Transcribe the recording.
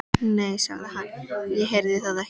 Nei, sagði hann, ég heyrði það ekki.